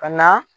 Ka na